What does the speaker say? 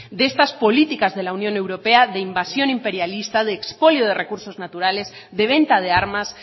de estas políticas de la unión europea de invasión imperialista de expolio de recursos naturales de venta de armas